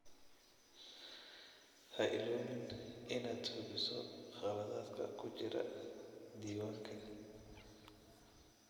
Ha iloobin inaad hubiso khaladaadka ku jira diiwaanka.